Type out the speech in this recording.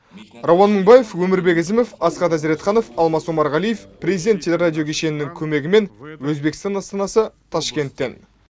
рауан мыңбаев өмірбек әзімов асхат әзіретханов алмас омарғалиев президент телерадио кешенінің көмегімен өзбекстан астанасы ташкенттен